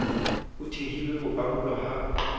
ho thehilwe ho arolwa ha